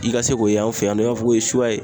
I ka se k'o ye an fɛ yan nɔ i b'a fɔ ko ye suya ye.